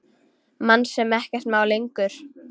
Mann sem ekkert má lengur.